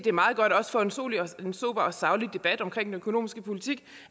er meget godt også for en sober og saglig debat om den økonomiske politik